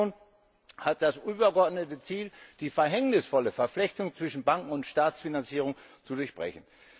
Die Bankenunion hat das übergeordnete Ziel, die verhängnisvolle Verflechtung zwischen Banken und Staatsfinanzierung zu durchbrechen.